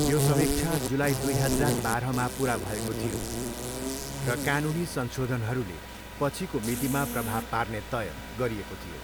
यो समीक्षा जुलाई दुई हजार बाह्रमा पुरा भएको थियो र कानुनी संशोधनहरूले पछिको मितिमा प्रभाव पार्ने तय गरिएको थियो।